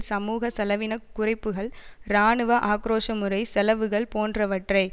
சமூக செலவின குறைப்புக்கள் இராணுவ ஆக்கிரோஷ முறை செலவுகள் போன்றவற்றை